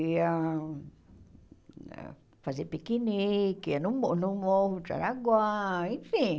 Ia fazer piquenique, ia no mo no Morro de Jaraguá, enfim.